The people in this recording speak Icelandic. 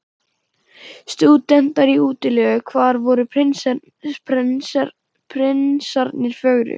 Stúdentar í útilegu: hvar voru prinsarnir fögru?